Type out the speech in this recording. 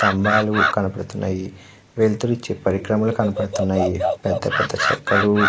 స్తంబాలు కనబడుతున్నాయి. వెలుతురు ఇచ్చే పరిక్రమలు కనబడుతున్నాయి. పెద్ద పెద్ద చెక్కలు--